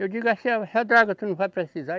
Eu digo assim, essa draga tu não vai precisar?